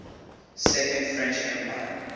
second french empire